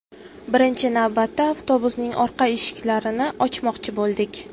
Birinchi navbatda avtobusning orqa eshiklarini ochmoqchi bo‘ldik.